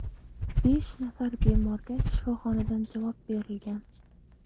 Besh nafar bemorga shifoxonadan javob berilgan.